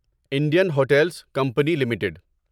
Indian hotels company limited